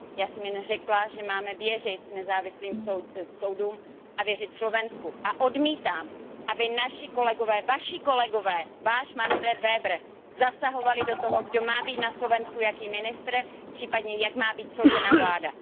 Já jsem jen řekla, že máme věřit nezávislým soudům a věřit Slovensku a odmítám, aby naši kolegové, Vaši kolegové, Váš Manfred Weber, zasahovali do toho, kdo má být na Slovensku jakým ministrem, případně jak má být složena vláda.